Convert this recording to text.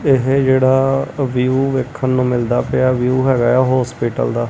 ਇਹ ਜਿਹੜਾ ਵਿਊ ਵੇਖਣ ਨੂੰ ਮਿਲਦਾ ਪਿਆ ਵਿਊ ਹੈਗਾ ਆ ਹੋਸਪਿਟਲ ਦਾ।